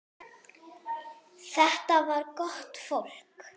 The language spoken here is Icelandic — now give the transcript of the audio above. Þetta var gott fólk.